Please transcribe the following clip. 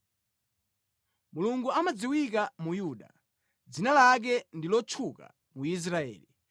Mulungu amadziwika mu Yuda; dzina lake ndi lotchuka mu Israeli.